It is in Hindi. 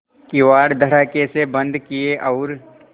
किवाड़ धड़ाकेसे बंद किये और